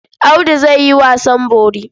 Audu zai yi wasan bori.